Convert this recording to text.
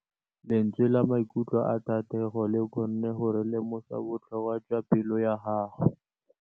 Lentswe la maikutlo a Thategô le kgonne gore re lemosa botlhoko jwa pelô ya gagwe.